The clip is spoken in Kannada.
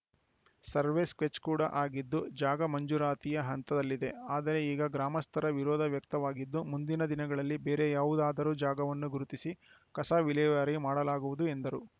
ಸರ್ವೆ ಸ್ಕೆಚ್‌ ಕೂಡ ಆಗಿದ್ದು ಜಾಗ ಮಂಜೂರಾತಿಯ ಹಂತದಲ್ಲಿದೆ ಆದರೆ ಈಗ ಗ್ರಾಮಸ್ಥರ ವಿರೋಧ ವ್ಯಕ್ತವಾಗಿದ್ದು ಮುಂದಿನ ದಿನಗಳಲ್ಲಿ ಬೇರೆ ಯಾವುದಾದರೂ ಜಾಗವನ್ನು ಗುರುತಿಸಿ ಕಸ ವಿಲೇವಾರಿ ಮಾಡಲಾಗುವುದು ಎಂದರು